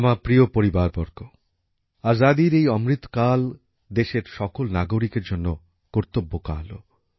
আমার প্রিয় পরিবারবর্গ স্বাধীনতার এই অমৃতকাল দেশের সকল নাগরিকের জন্যে কর্তব্যকালও